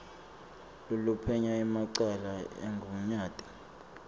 loluphenya emacala emgunyati